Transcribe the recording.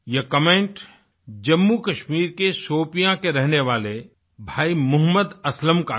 यह कमेंट जम्मूकश्मीर के शोपियां के रहने वाले भाई मुहम्मद असलम का था